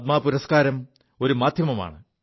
പദ്മ പുരസ്കാരം ഒരു മാധ്യമമാണ്